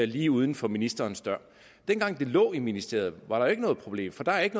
lige uden for ministerens dør da de lå i ministeriet var der jo ikke noget problem for der er ikke